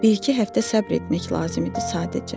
Bir-iki həftə səbr etmək lazım idi sadəcə.